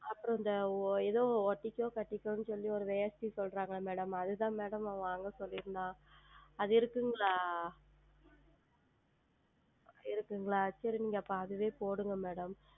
அப்புறம் இந்த எதோ ஒட்டிக்கொ கட்டிக்கோ என்று சொல்லி ஓர் வேட்டி சொல்லுகிறார்கள் அல்லவா Madam அது தான் Madam அவன் வாங்க சொல்லி இருந்தான் அது இருக்கிறதா இருக்கிறதா சரி அப்பொழுது அதுவே போடுங்கள் Madam